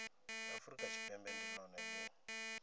afurika tshipembe ndi lone li